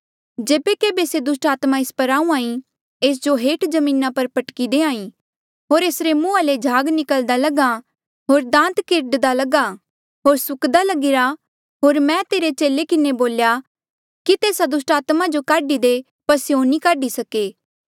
जेबे केभे से दुस्टात्मा ऐस पर आहूँआं ईं एस जो हेठ जमीना पर पटकी देहां ईं होर एसरे मुंहाँ ले झाग निकल्दा लग्हा होर दांद किर्डदा लग्हा होर सुक्दा लगिरा होर मैं तेरे चेले किन्हें बोल्या कि तेस्सा दुस्टात्मा जो काढी दे पर स्यों नी काढी सके